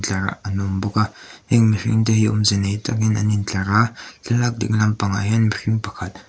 tlar an awm bawk a heng mihring te hi awmze nei takin an in tlar a thlalak ding lam pangah hian mihring pakhat--